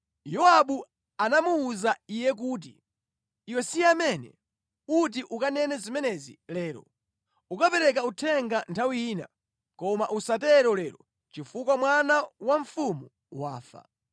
Yowabu anamuwuza iye kuti, “Iwe si amene uti ukanene zimenezi lero. Ukapereka uthenga nthawi ina, koma usatero lero, chifukwa mwana wa mfumu wafa.”